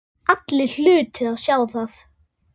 Allir hlutu að sjá það.